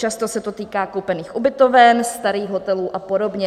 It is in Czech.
Často se to týká koupených ubytoven, starých hotelů a podobně.